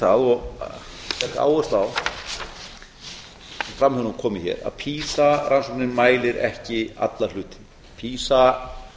og legg áherslu á það sem fram hefur nú komið hér að pisa rannsóknin mælir ekki alla hluti pisa